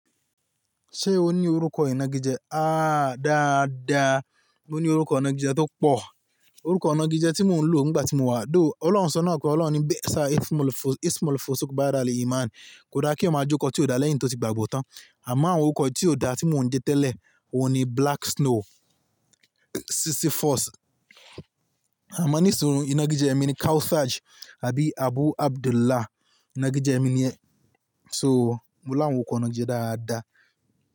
Ṣé o ní orúkọ ìnagijẹ? Áá dáadáa, mo ní orúkọ ìnagijẹ tó pọ̀. Orúkọ ìnagijẹ tí mò ń lò nígbà tí mo wà though, Ọlọ́run sọ náà pé Ọlọ́run ní bẹ́ẹ̀ sá, Ismalfosú bá dára ní Iman. Kò dá kí ó máa jókòó tí ó da lẹ́yìn tí ó ti gbàgbọ́ tán. Àmọ́ àwọn orúkọ tí ó da tí mò ń de tẹ́lẹ̀, òun ni Black Snow, Sisyphus. Àmọ́ ní ìṣòro ìnagijẹ mi ni Khaosage àbí Abu Abdullah ìnagijẹ mi ni ẹ́. So mo láwọn orúkọ ìnagijẹ dáadáa.